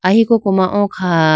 ahi koko ma o kha.